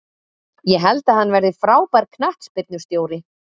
Ég held að hann verði frábær knattspyrnustjóri.